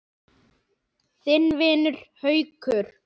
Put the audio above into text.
Þinn vinur, Haukur.